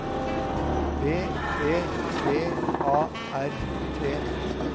B E V A R T